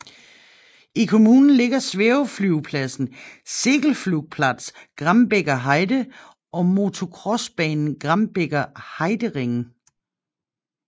I kommunen ligger svæveflyvepladsen Segelflugplatz Grambeker Heide og motocrossbanen Grambeker Heidering